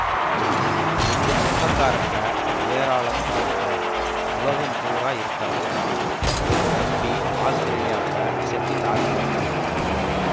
எங்க சொந்தக்காரங்க ஏராளம் பாருங்க உலகம் பூரா இருக்காங்க என் தம்பி ஆஸ்த்திரேலியாவுல செட்டில் ஆகியிருக்கு